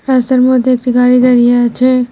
রাস্তার মধ্যে একটি গাড়ি দাঁড়িয়ে আছে।